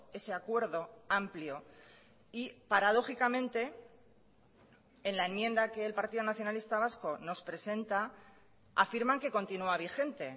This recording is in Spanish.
ese acuerdo amplio y paradójicamente en la enmienda que el partido nacionalista vasco nos presenta afirman que continúa vigente